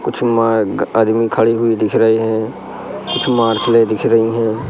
कुछ मार्ग आदमी खड़ी हुई दिख रहीं हैं कुछ दिख रहीं हैं।